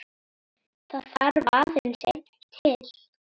Það þarf aðeins einn til.